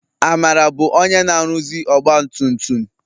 Amara bụ onye na-aruzi ọgbatumtum.